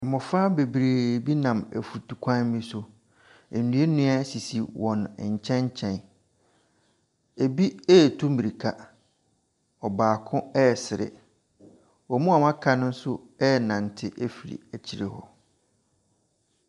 Mmofra bebree bi nam mfutru kwan bi so. Nnua nnua sisi wɔn nkyɛn nkyɛn. Ebi retu mmirika. Ɔbaako resere. Wɔn a wɔaka no nso renante afiri akyire hɔ.